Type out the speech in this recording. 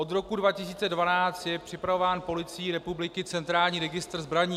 Od roku 2012 je připravován policií republiky centrální registr zbraní.